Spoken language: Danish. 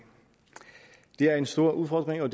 det er en stor udfordring og